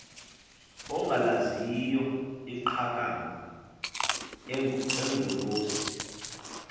ongalaziyo iqakamba engcolosi